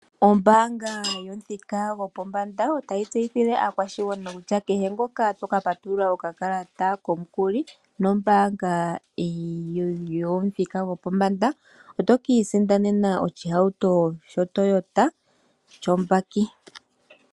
Ombaanga yomuthika gopombanda otayi tseyithile aakwashigwana kutya, kehe ngoka to ka patulula okakalata komukuli, nombaanga yomuthika gopombanda, oto ka isindanena oshihauto sho Toyota sho mbaki.